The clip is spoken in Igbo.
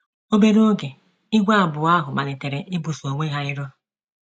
Obere oge, ìgwè abụọ ahụ malitere ibuso onwe ha iro.